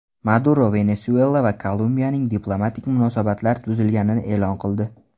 Maduro Venesuela va Kolumbiyaning diplomatik munosabatlar buzilganini e’lon qildi.